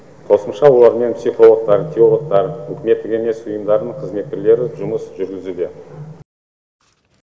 қосымша олармен психологтар теологтар үкіметтік емес ұйымдардың қызметкерлері жұмыс жүргізуде